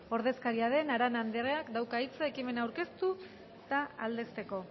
ordezkaria den arana andereak dauka hitza ekimena aurkeztu eta aldezteko